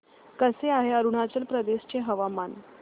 कसे आहे अरुणाचल प्रदेश चे हवामान